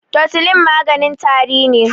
totulin maganin tari ne